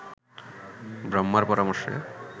ব্রহ্মার পরামর্শে